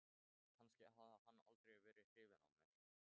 Þú lest þá tvær eða þrjár prófarkir við tækifæri.